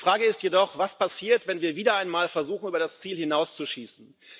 Die Frage ist jedoch Was passiert, wenn wir wieder einmal versuchen, über das Ziel hinauszuschießen?